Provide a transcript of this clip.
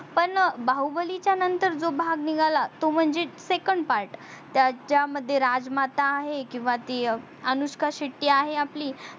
पण बाहुबलीचा नंतर जो भाग निगाला तो म्हणजे second part त्याचा मध्ये राजमाता आहे किवा ती अनुष्का शेट्टी आहे आपली